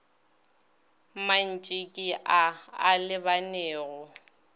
mantši ke a a lebanego